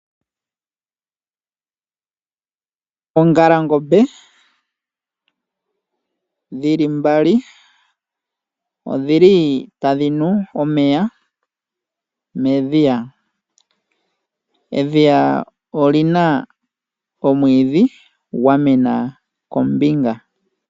Oongalangombe dhili mbali odhili tadhi nu omeya medhiya, edhiya olina omwiidhi gwamena kombinga.